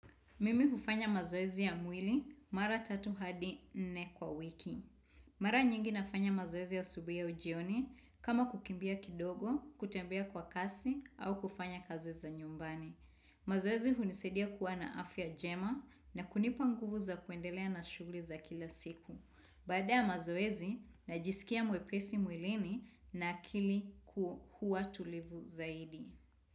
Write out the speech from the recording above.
Mimi hufanya mazoezi ya mwili mara tatu hadi nne kwa wiki. Mara nyingi nafanya mazoezi asubuhi au jioni kama kukimbia kidogo, kutembea kwa kasi au kufanya kazi za nyumbani. Mazoezi hunisaidia kuwa na afya njema na kunipa nguvu za kuendelea na shughuli za kila siku. Baada ya mazoezi najiskia mwepesi mwilini na akili huwa tulivu zaidi.